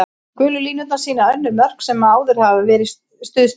Gulu línurnar sýna önnur mörk sem hefur áður verið stuðst við.